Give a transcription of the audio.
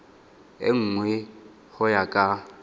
e nngwe go ya ka